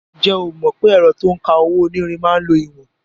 Ǹjẹ́ o mọ̀ pé ẹ̀rọ to ń ka owó-onírin máa ń lo ìwọ̀n?